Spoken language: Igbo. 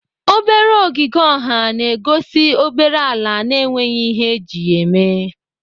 Obere ọgịge ọha na-egosi obere ala na-enweghị ihe eji ya eme.